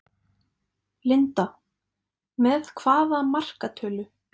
Linda: Með hvaða markatölu?